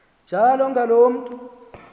njalo ngaloo mntu